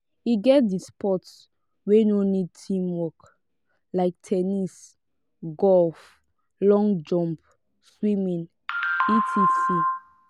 e get di sport wey no need teamwork like ten nis golf long jump swimming etc